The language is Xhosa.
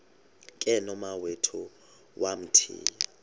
ke nomawethu wamthiya